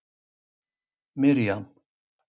Mirjam